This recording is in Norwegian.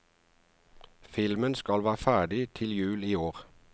Filmen skal være ferdig til jul i år.